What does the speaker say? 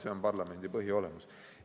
See on parlamendi põhiolemus.